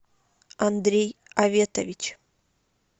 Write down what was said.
андрей аветович